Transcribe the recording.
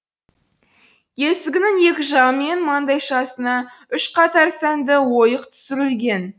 есігінің екі жағы мен маңдайшасына үш қатар сәнді ойық түсірілген